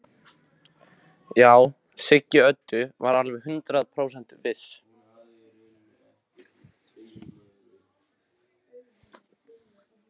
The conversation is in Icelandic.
Já, Siggi Öddu var alveg hundrað prósent viss.